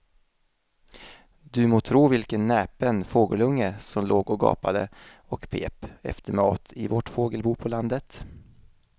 Du må tro vilken näpen fågelunge som låg och gapade och pep efter mat i vårt fågelbo på landet.